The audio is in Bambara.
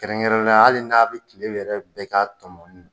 Kɛrɛnkɛrɛn ne ya la hali n'a bi kile yɛrɛ bɛɛ ka tɔmɔni na